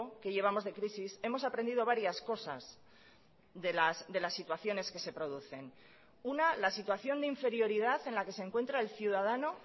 que llevamos de crisis hemos aprendido varias cosas de las situaciones que se producen una la situación de inferioridad en la que se encuentra el ciudadano